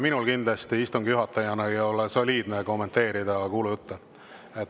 Minul kindlasti istungi juhatajana ei ole soliidne kommenteerida kuulujutte.